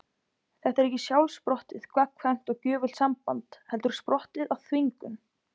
Þetta er ekki sjálfsprottið, gagnkvæmt og gjöfult samband heldur sprottið af þvingun.